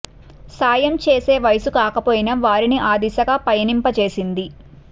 సాయం చేసే వయస్సు కాకపోయినా వారిని ఆ దిశగా పయనింప చేసింది